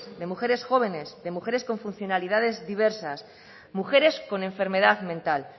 de mujeres jóvenes de mujeres con funcionalidades diversas mujeres con enfermedad mental